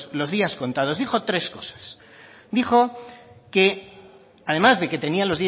los días contados dijo tres cosas dijo que además de que tenía